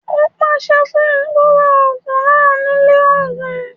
Ó pàṣẹ fún un kó ra ògùn náà ní ilé ògùn